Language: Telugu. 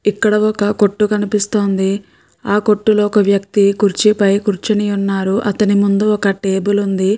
ఇక్కడ ఒక కొట్టు కనిపిస్తుంది. ఆ కొట్టులో ఒక వ్యక్తి కుర్చీపై కూర్చుని ఉన్నారు అతని ముందు ఒక టెబుల్ ఉంది.